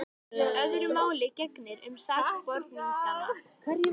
Öðru máli gegnir um sakborningana.